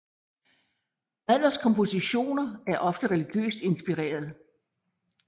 Adlers kompositioner er ofte religiøst inspireret